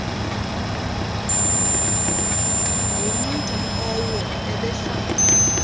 ngumntu owo ebehlala